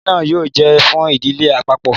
Ilẹ náà yóò jẹ fún ìdílé àpapọ